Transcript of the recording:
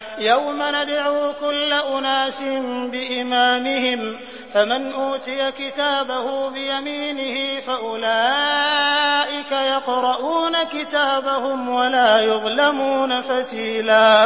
يَوْمَ نَدْعُو كُلَّ أُنَاسٍ بِإِمَامِهِمْ ۖ فَمَنْ أُوتِيَ كِتَابَهُ بِيَمِينِهِ فَأُولَٰئِكَ يَقْرَءُونَ كِتَابَهُمْ وَلَا يُظْلَمُونَ فَتِيلًا